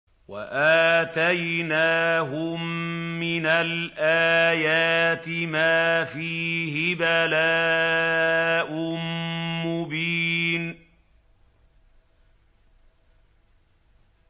وَآتَيْنَاهُم مِّنَ الْآيَاتِ مَا فِيهِ بَلَاءٌ مُّبِينٌ